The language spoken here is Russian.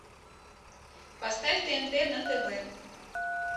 поставь тнт на тв